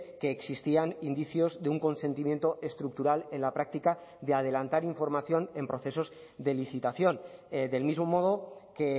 que existían indicios de un consentimiento estructural en la práctica de adelantar información en procesos de licitación del mismo modo que